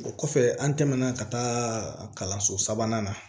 O kɔfɛ an tɛmɛna ka taa kalanso sabanan na